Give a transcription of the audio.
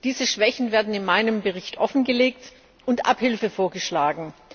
Diese Schwächen werden in meinem Bericht offengelegt, und Abhilfe wird vorgeschlagen.